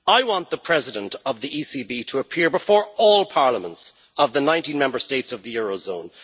I want the President of the ECB to appear before all parliaments of the 19 Member States of the eurozone